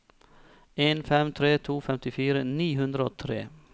en fem tre to femtifire ni hundre og tre